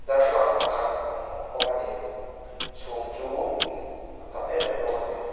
darthlalang pakhat a awm a ni chhum chu a tam em em bawk a ni.